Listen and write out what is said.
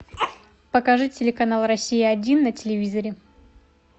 покажи телеканал россия один на телевизоре